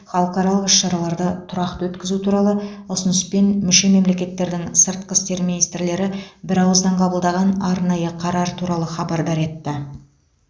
халықаралық іс шараларды тұрақты өткізу туралы ұсыныспен мүше мемлекеттердің сыртқы істер министрлері бірауыздан қабылдаған арнайы қарар туралы хабардар етті